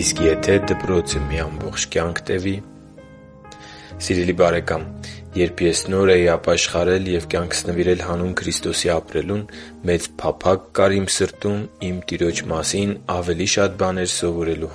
Իսկ եթե դպրոցը մի ամբողջ կյանք տևի․․․ Սիրելի՛ բարեկամ, երբ ես նոր էի ապաշխարել և կյանքս նվիրել հանուն Քրիստոսի ապրելուն, մեծ փափագ կար իմ սրտում իմ Տիրոջ մասին ավելի շատ բաներ սովորելու։